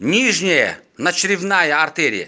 нижняя надчревная артерия